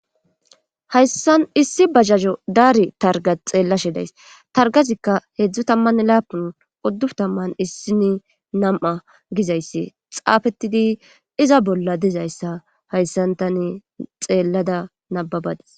hayssan issi bajajo daari targa xeellashe days targazikka heedzdzo tammann laapun oddu tamman issini nam7a gizayssi xaafettidi iza bolla dezayssa hayssantane xeellada nababades